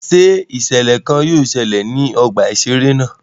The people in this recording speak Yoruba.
Ṣé iṣẹlẹ kàn yóò ṣẹlẹ ní ọgbà iṣere náà?